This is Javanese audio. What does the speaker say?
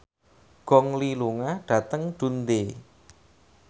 Gong Li lunga dhateng Dundee